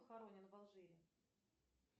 похоронен в алжире